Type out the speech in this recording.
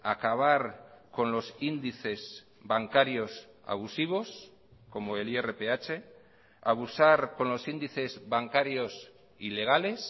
acabar con los índices bancarios abusivos como el irph abusar con los índices bancarios ilegales